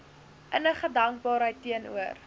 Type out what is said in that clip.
innige dankbaarheid teenoor